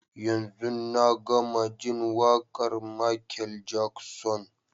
Yanzun na gama jin waƙar Michael Jackson.